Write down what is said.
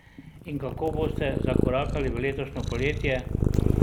In kako boste zakorakali v letošnje poletje?